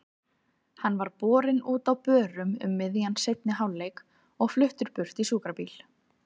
Hann var borinn út á börum um miðjan seinni hálfleik og fluttur burt í sjúkrabíl.